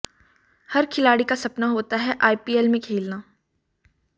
हर खिलाड़ी का सपना होता है आईपीएल में खेलना